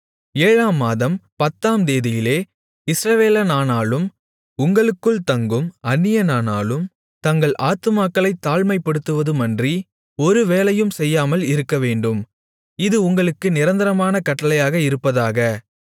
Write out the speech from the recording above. ஏழாம் மாதம் பத்தாம் தேதியிலே இஸ்ரவேலனானாலும் உங்களுக்குள் தங்கும் அந்நியனானாலும் தங்கள் ஆத்துமாக்களைத் தாழ்மைப்படுத்துவதுமன்றி ஒரு வேலையும் செய்யாமல் இருக்கவேண்டும் இது உங்களுக்கு நிரந்தரமான கட்டளையாக இருப்பதாக